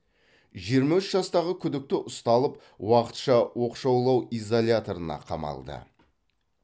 жиырма үш жастағы күдікті ұсталып уақытша оқшаулау изоляторына қамалды